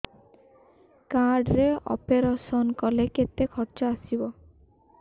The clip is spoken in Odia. କାର୍ଡ ରେ ଅପେରସନ କଲେ କେତେ ଖର୍ଚ ଆସିବ